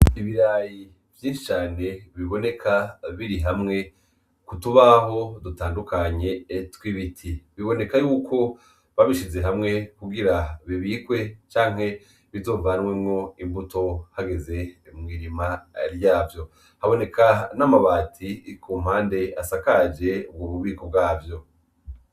Ibirayi vyinshi cane biboneka birihamwe kutubaho dutandukanye tw'ibiti. Bibonekako babishize hamwe kugira bibikwe canke bizovanwemwo imbuto hageze mwirima ryavyo, haboneka n'amabati kumpande asakaje ububiko bwavyo.